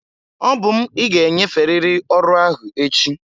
Obum ị ga-enyeferịrị ọrụ ahụ echi!